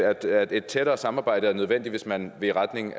at et tættere samarbejde er nødvendigt hvis man vil i retning